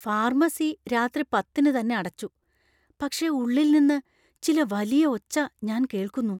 Pharmacy രാത്രി പത്തിന് തന്നെ അടച്ചു, പക്ഷേ ഉള്ളിൽ നിന്ന് ചില വലിയ ഒച്ച ഞാൻ കേൾക്കുന്നു.